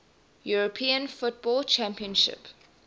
european football championship